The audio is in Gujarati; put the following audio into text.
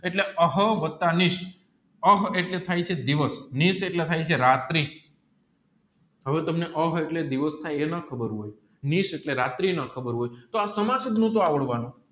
એટલે હા વત્તા નિશ હા એલર્ટ થાય છે દિવસ નિશ એટલે થાય છે રાત્રી હવે તમને કહીએ એટલે દિવસ ને એ ના ખબર હોય નિશ એટલે રાત્રી ના ખબર હોય તોહ આવડ વાનું